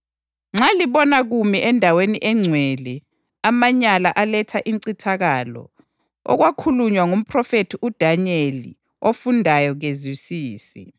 Nxa libona kumi endaweni engcwele ‘amanyala aletha incithakalo,’ + 24.15 UDanyeli 9.27; 11.31; 12.11 okwakhulunywa ngomphrofethi uDanyeli, ofundayo kezwisise.